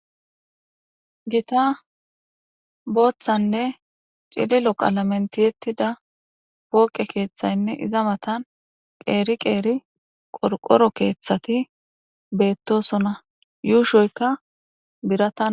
gita booththanne cililo qala mentiyettida pooqe keeththaynne iza matan qeeri qeeri qorqoro keeththati beettosona yuushoyka birata